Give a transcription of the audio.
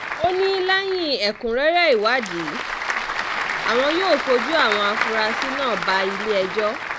ó ní lẹ́yìn ẹ̀kúnrẹ́rẹ́ ìwádìí àwọn yóò fojú àwọn afurasí náà bá ilé-ẹjọ́